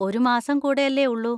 ഒരു മാസം കൂടെയല്ലേ ഉള്ളു?